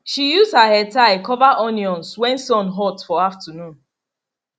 she use her headtie cover onions when sun hot for afternoon